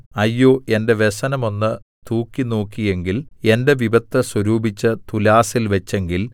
അയ്യോ എന്റെ വ്യസനം ഒന്ന് തൂക്കിനോക്കിയെങ്കിൽ എന്റെ വിപത്ത് സ്വരൂപിച്ച് തുലാസിൽ വച്ചെങ്കിൽ